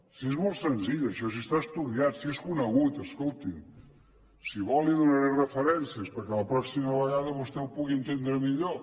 si és molt senzill això si està estudiat si és conegut escolti’m si vol li’n donaré referències perquè la pròxima vegada vostè ho pugui entendre millor